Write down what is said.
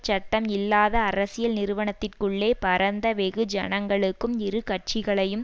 சட்டம் இல்லாத அரசியல் நிறுவனத்திற்குள்ளே பரந்த வெகு ஜனங்களுக்கும் இரு கட்சிகளையும்